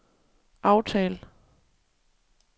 aftal